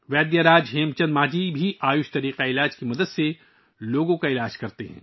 ویدیاراج ہیم چند مانجھی آیوش نظام طب کی مدد سے بھی لوگوں کا علاج کرتے ہیں